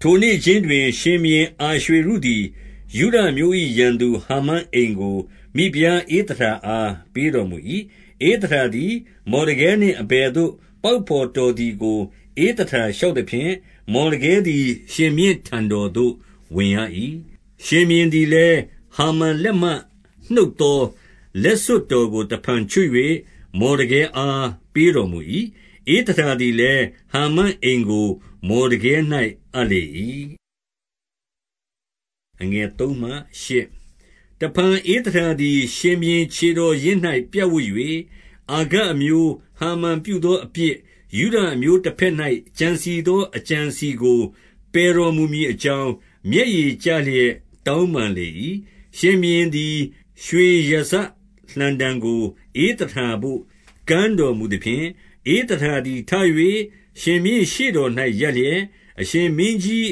ထိုနေ့ခြင်းတွင်၊ ရှင်ဘုရင်အာရွှေရုသည် ယုဒ အမျိုး၏ ရန်သူဟာမန်အိမ်ကို မိဖုရားဧသတာအား ပေးတော်မူ၏။ ဧသတာသည် မော်ဒကဲနှင့် အဘယ်သို့ ပေါင်ဘော်တော်သည်ကို ဧသတာလျှောက်သဖြင့်၊ မော်ဒကဲသည် ရှင်ဘုရင်ထံတော်သို့ဝင်ရ၏။ 2 ရှင်ဘုရင်သည်လည်း၊ ဟာမန်လက်မှ နှုတ်သော လက်စွပ်တော်ကို တဖန်ချွတ်၍ မော်ဒကဲအား ပေးတော် မူ၏။ ဧသတာလည်း၊ ဟာမန်အိမ်ကို မော်ဒကဲ၌ အပ် လေ၏။ 3 တဖန်ဧသတာသည် ရှင်ဘုရင်ခြေတော်ရင်း၌ ပြပ်ဝပ်၍၊ အာဂတ်အမျိုး ဟာမန်ပြုသောအပြစ်၊ ယုဒ အမျိုးတဘက်၌ ကြံစည်သော အကြံအစည်ကို ပယ်တော် မူမည်အကြောင်း၊ မျက်ရည်ကျလျက် တောင်းပန်လေ၏။ 4 ရှင်ဘုရင်သည် ရွှေရာဇလှံတံကို ဧသတာသို့ ကမ်းတော်မူသဖြင့်၊ ဧသတာသည် ထ၍ရှင်ဘုရင် ရှေ့တော်၌ ရပ်လျက်၊ 5 အရှင်မင်းကြီး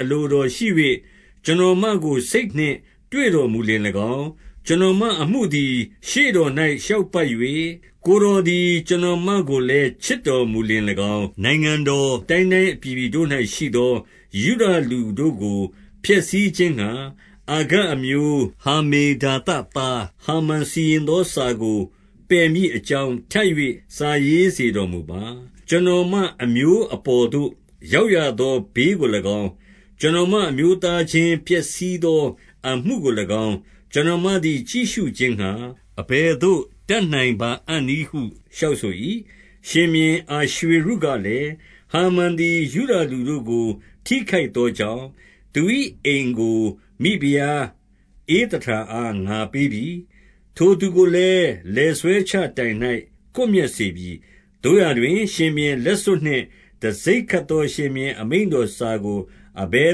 အလိုတော်ရှိ၍၊ ကျွန်တော်မကို စိတ်နှင့်တွေ့တော်မူလျှင်၎င်း၊ ကျွန်တော်မအမှုသည် ရှေ့တော်၌ လျောက်ပတ်၍ ကိုယ်တော်သည် ကျွန်တော်မ ကိုလည်း ချစ်တော်မူလျှင်၎င်း၊ နိုင်ငံတော်အတိုင်းတိုင်း အပြည်ပြည်တို့၌ရှိသော ယုဒလူတို့ကို ဖျက်ဆီးခြင်းငှါ၊ အာဂတ်အမျိုး ဟမ္မေဒါသသား ဟာမန်စီရင်သောစာကို ပယ်မည်အကြောင်း၊ ထပ်၍ စာရေးစေတော်မူပါ။ 6 ကျွန်တော်မအမျိုးအပေါ်သို့ ရောက်ရသော ဘေးကို၎င်း၊ ကျွန်တော်မအမျိုးသားချင်းပျက်စီးသော အမှုကို၎င်း၊ ကျွန်တော်မသည် ကြည့်ရှုခြင်းငှါ၊ အဘယ်သို့ တတ်နိုင်ပါအံ့နည်းဟု လျှောက်ဆို၏။ 7 ရှင်ဘုရင် အာရွှေရုကလည်း၊ ဟာမန်သည် ယုဒလူတို့ကို ထိခိုက်သောကြောင့်၊ သူ၏အိမ်ကို ဖိဖုရား ဧသတာအားငါပေးပြီ။ ထိုသူကိုလည်း လည်ဆွဲချတိုင်၌ ကွပ်မျက်စေပြီ။ 8 သို့ရာတွင် ရှင်ဘုရင်လက်စွပ်နှင့် တံဆိပ်ခတ် သော ရှင်ဘုရင် မိန့်တော်စာကို အဘယ်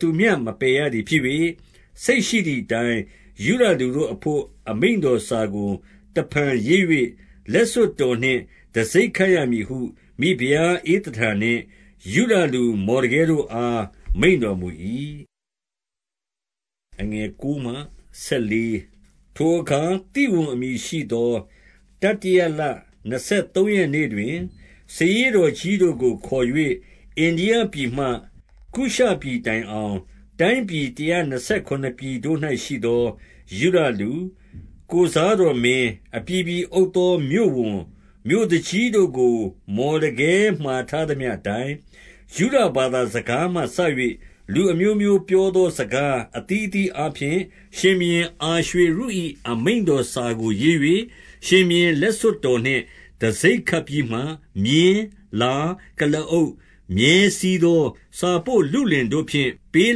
သူမျှ မပယ်ရ သည်ဖြစ်၍၊ စိတ်ရှိသည်အတိုင်း ယုဒလူတို့အဘို့ အမိန့် တော်စာကို တဖန်ရေး၍၊ လက်စွပ်တော်နှင့် တံဆိပ်ခတ် ရမည်ဟု မိဖုရားဧသတာနှင့် ယုဒလူမော်ဒကဲတို့အား မိန့်တော်မူ၏။ 9 ထိုအခါ ဝိဝန်အမည်ရှိသော တတိယလနှစ် ဆယ်သုံးရက်နေ့တွင်၊ စာရေးတော်ကြီးတို့ကိုခေါ်၍၊ အိန္ဒိယပြည်မှ ကုရှပြည်တိုင်အောင် တိုင်းပြည်တရာ နှစ်ဆယ်ခုနစ်ပြည်တို့၌ ရှိသော ယုဒလူ၊ ကိုယ်စားတော် မင်း၊ အပြည်ပြည်အုပ်သော မြို့ဝန်၊ မြို့သူကြီးတို့ကို မော်ဒကဲမှာထားသမျှအတိုင်း၊ ယုဒဘာသာစကားမှစ၍ လူအမျိုးမျိုး ပြောသောစကားအသီး အသီးအားဖြင့်၊ 10 ရှင်ဘုရင် အာရွှေရု၏ အမိန့်တော်စာကိုရေး၍ ရှင်ဘုရင်လက် စွပ်တော်နှင့် တံဆိပ်ခတ်ပြီးမှ၊ မြင်း၊ လား၊ ကုလားအုပ်၊ မြည်းစီးသော စာပို့လုလင်တို့ဖြင့် ပေး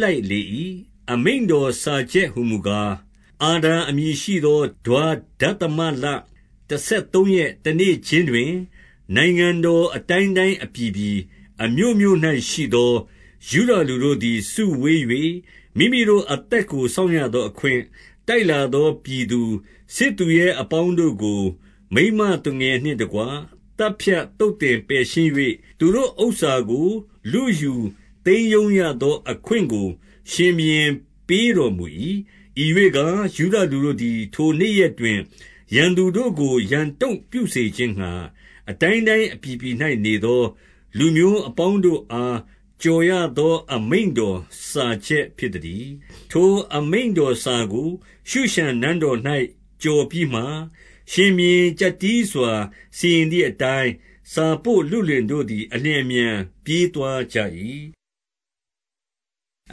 လိုက် လေ၏။ 11 အမိန့်တော်စာချက်ဟူမူကား၊ အာဒါအမည် ရှိသော ဒွါဒသမလ တဆယ်သုံးရက် တနေ့ခြင်းတွင်၊ 12 နိုင်ငံတော်အတိုင်းတိုင်း အပြည်ပြည်အမြို့မြို့ ၌ရှိသော ယုဒလူတို့သည် စုဝေး၍၊ မိမိတို့အသက်ကို စောင့်ရသောအခွင့်၊ တိုက်လာသောပြည်သူ၊ စစ်သူရ အပေါင်းတို့ကို မိန်းမသူငယ်နှင့်တကွ သတ်ဖြတ်သုတ် သင်ပယ်ရှင်း၍၊ သူတို့ဥစ္စာကို လုယူ သိမ်းရုံးရသောအခွင့် ကို ရှင်ဘုရင်ပေးတော်မူ၏။ 13 ဤရွေ့ကား၊ ယုဒလူတို့သည် ထိုနေ့ရက်တွင် ရန်သူတို့ကို ရန်တုံ့ပြုစေခြင်းငှါ၊ အတိုင်းတိုင်း အပြည် ပြည်၌နေသော လူမျိုးအပေါင်းတို့အား ကြော်ရသော အမိန့်တော်စာချက်ဖြစ်သတည်း။ 14 ထိုအမိန့်တော်စာကို ရှုရှန်နန်းတော်၌ ကြော်ပြီး မှ၊ ရှင်ဘုရင် ကျပ်တည်းစွာ စီရင်သည်အတိုင်း၊ စာပို့ လုလင်တို့သည် အလျင်အမြန် ပြေးသွားကြ၏။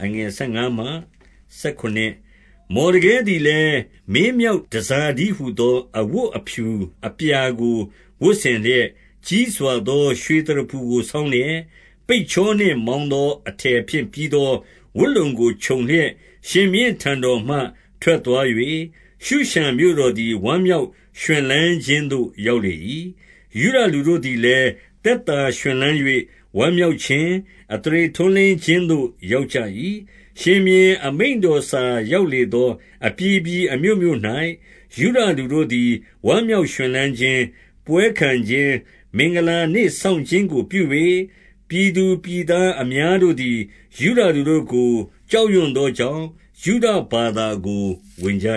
15 မော်ဒကဲသည်လည်း၊ မင်းမြောက်တန်ဆာ တည်းဟူသော အဝတ်အဖြူအပြာကို ဝတ်ဆင်လျက်၊ ကြီးစွာသော ရွှေသရဖူကို ဆောင်းလျက်၊ ပိတ်ချောနှင့် မောင်းသော အထည်ဖြင့် ပြီးသောဝတ်လုံကို ခြုံလျက်၊ ရှင်ဘုရင်ထံတော်မှ ထွက်သွား၍၊ 16 ရှုရှန်မြို့တော်သည် ဝမ်းမြောက်ရွှင်လန်းခြင်းသို့ ရောက်လေ၏။ ယုဒလူတို့သည်လည်း၊ သက်သာရွှင်လန်း ၍ ဝမ်းမြောက်ခြင်း၊ အသရေထွန်းလင်းခြင်းသို့ ရောက် ကြ၏။ 17 ရှင်ဘုရင်အမိန့်တော်စာရောက်လေသော အပြည်ပြည်အမြို့မြို့၌၊ ယုဒလူတို့သည် ဝမ်းမြောက် ရွှင်လန်းခြင်း၊ ပွဲခံခြင်း၊ မင်္ဂလာနေ့စောင်းခြင်းကို ပြု၍၊ ပြည်သူပြည်သားအများတို့သည် ယုဒလူတို့ကို ကြောက်ရွံ သောကြောင့် ယုဒဘာသာကို ဝင်ကြ